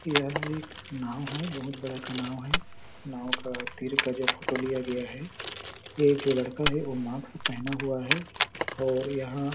यह एक नाव है बहुत बड़ा का नाव है नाव का तीर का जो फ़ोटो लिया गया है ए जो लड़का है वो मास्क पहना हुआ है और यहाँ --